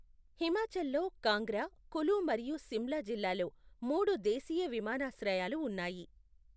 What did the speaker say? హిమాచల్లో కాంగ్రా, కులు మరియు సిమ్లా జిల్లాల్లో మూడు దేశీయ విమానాశ్రయాలు ఉన్నాయి.